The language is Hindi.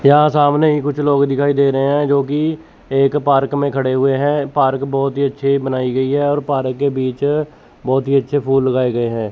यहां सामने ही कुछ लोग दिखाई दे रहे हैं जो की एक पार्क में खड़े हुए हैं पार्क बहोत ही अच्छे बनाई गई है और पार्क के बीच बहोत ही अच्छे फूल लगाए गए हैं।